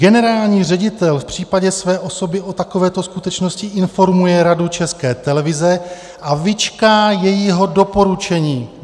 Generální ředitel v případě své osoby o takovéto skutečnosti informuje Radu České televize a vyčká jejího doporučení.